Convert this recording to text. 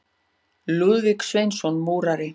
Lúðvík Sveinsson múrari.